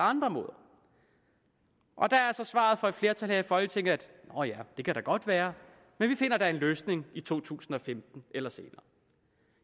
andre måder og der er så svaret fra et flertal i folketinget nå ja det kan da godt være men vi finder en løsning i to tusind og femten eller senere